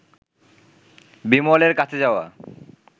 বিমলের কাছে যাওয়া